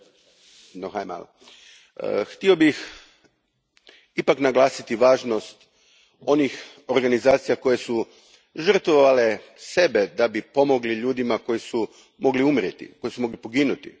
Gospodine predsjedniče, htio bih ipak naglasiti važnost onih organizacija koje su žrtvovale sebe da bi pomogle ljudima koji su mogli umrijeti, koji su mogli poginuti.